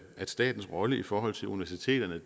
at statens rolle i forhold til universiteterne